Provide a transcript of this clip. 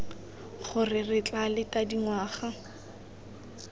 gore re tla leta dingwaga